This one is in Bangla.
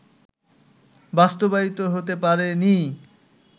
বাস্তবায়িত হতে পারে নি